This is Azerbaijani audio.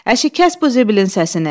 Əşi, kəs bu zibilin səsini.